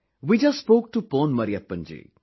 We just spoke to Pon Mariyappan ji